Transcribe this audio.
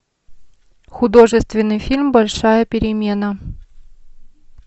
художественный фильм большая перемена